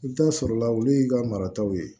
I bɛ taa sɔrɔ la olu y'i ka marataw ye